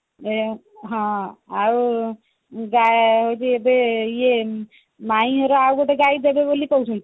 ହଁ ଆଉ ମୁଁ ଯାଉଛି ଏବେ ଇଏ ମାଇଁ ମୋର ଆଉଗୋଟେ ଗାଈ ଦେବେବୋଲି କହୁଛନ୍ତି